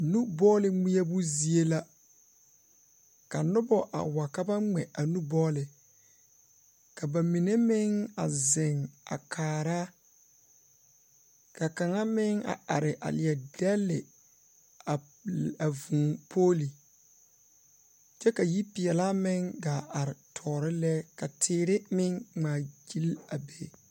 Nu bɔɔle ŋmeɛbo zie la. Ka noba wa ka ba ŋmɛ a nu bɔɔle. Ka ba mine meŋ a zeŋ a kaara, ka kaŋa meŋ a are a leɛ dɛlle vu a vũũ pooli, kyɛ ka yipeɛlaa meŋ gaa are tɔɔre lɛ ka teere meŋ ŋmaagyil a be.